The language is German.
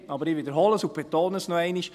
Aber ich wiederhole und betone noch einmal: